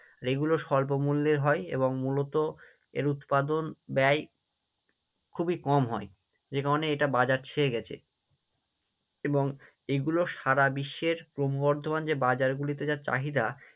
আর এইগুলো স্বল্প মূল্যের হয় এবং মূলত এর উৎপাদন ব্যয় খুবই কম হয়, এটা বাজার ছেয়ে গেছে এবং এইগুলো সারা বিশ্বের ক্রমবর্দ্ধমান যে বাজার গুলিতে যা চাহিদা